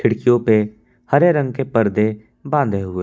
खिड़कियो पे हरे रंग के पर्दे बांधे हुए--